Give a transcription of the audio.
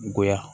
Goya